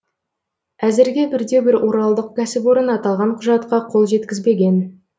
әзірге бірде бір оралдық кәсіпорын аталған құжатқа қол жеткізбеген